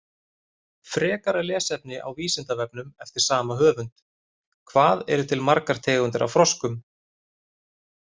Frekara lesefni á Vísindavefnum eftir sama höfund: Hvað eru til margar tegundir af froskum?